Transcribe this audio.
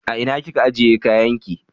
A ina kika ajiye kayan ki?